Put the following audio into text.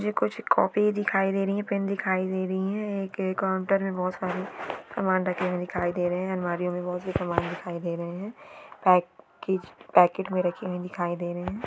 मुझे कुच्छ कॉपी ही दिखाई दे रही है पेन दिखाई दे रही है ए एक काउंटर मे बहोत सारे समान रखे हुए दिखाई दे रहे है और अलमारी ओ मे बहुत ही समान दिखाई दे रही है पॅकेज पॅकेट मे रखी हुई दिखाई दे रही है।